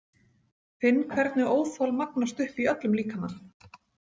Finn hvernig óþol magnast upp í öllum líkamanum.